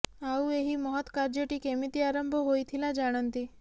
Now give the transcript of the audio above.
ଆଉ ଏହି ମହତ୍ କାର୍ଯ୍ୟଟି କେମିତି ଆରମ୍ଭ ହୋଇଥିଲା ଜାଣନ୍ତି